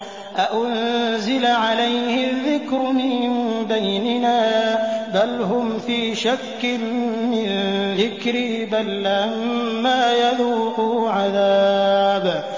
أَأُنزِلَ عَلَيْهِ الذِّكْرُ مِن بَيْنِنَا ۚ بَلْ هُمْ فِي شَكٍّ مِّن ذِكْرِي ۖ بَل لَّمَّا يَذُوقُوا عَذَابِ